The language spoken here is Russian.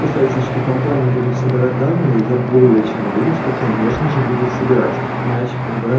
красавица что компании будут собирать данные я более чем уверен что конечно же будут собирать иначе